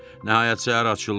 Nəhayət səhər açıldı.